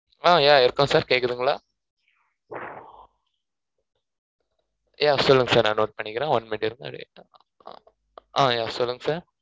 ஹான் yeah இருக்கோம் sir கேக்குதுங்களா yeah சொல்லுங்க sir நான் note பண்ணிக்கிறேன் one minute இருங்க அப்டே ஹான் yeah சொல்லுங்க sir